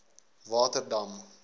waterdam